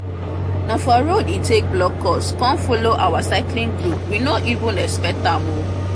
na for road e take block us come follow our cycling group we no even expect am o